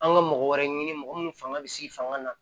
An ka mɔgɔ wɛrɛ ɲini mɔgɔ minnu fanga bɛ s'i fanga na